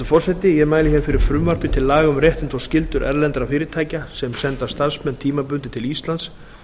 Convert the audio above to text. forseti ég mæli fyrir frumvarpi til laga um réttindi og skyldur erlendra fyrirtækja sem senda starfsmenn tímabundið til íslands